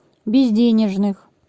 безденежных